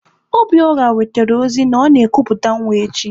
Obiora wetere ozi na ọ na-ekuputa nwa echi.